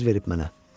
Söz verib mənə.